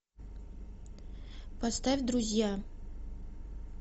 поставь друзья